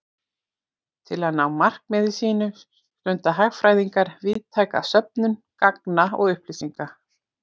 Til að ná markmiðum sínum stunda hagfræðingar víðtæka söfnun gagna og upplýsinga.